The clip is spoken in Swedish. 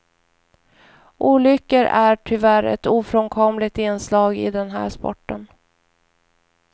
Olyckor är tyvärr ett ofrånkomligt inslag i den här sporten.